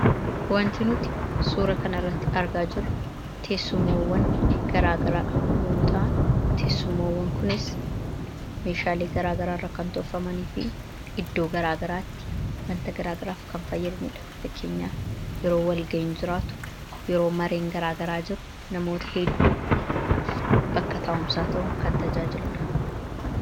want inuuti suura kana irratti argaa jiru teessumawwan garaagaraa yommuuta, an teessumawwan kunis meeshaalii garaa garaa irra kan tolfamanii fi hedduu garaa garaatti wanta garaagaraaf kan fayyadaniidha. fakkeenyaaf yeroo walgaenyu jiraatu yeroo mareen garaagaraa jiru namoota hedduu bakka taa'umsaa tahu kan tajaajiludhu